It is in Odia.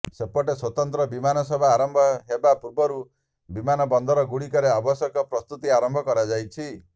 ସେପଟେ ସ୍ୱତନ୍ତ୍ର ବିମାନ ସେବା ଆରମ୍ଭ ହେବା ପୂର୍ବରୁ ବିମାନବନ୍ଦରଗୁଡ଼ିକରେ ଆବଶ୍ୟକ ପ୍ରସ୍ତୁତି ଆରମ୍ଭ କରାଯାଇଛି